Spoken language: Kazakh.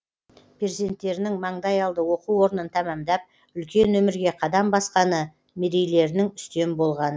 перзенттерінің маңдайалды оқу орнын тәмамдап үлкен өмірге қадам басқаны мерейлерінің үстем болғаны